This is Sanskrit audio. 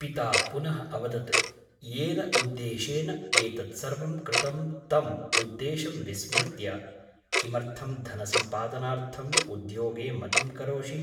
पिता पुनः अवदत् येन उद्देशेन एतत्सर्वं कृतं तम् उद्देशं विस्मृत्य किमर्थं धनसम्पादनार्थम् उद्योगे मतिं करोषि ?